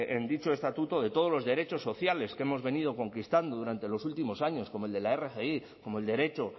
en dicho estatuto de todos los derechos sociales que hemos venido conquistando durante los últimos años como el de la rgi como el derecho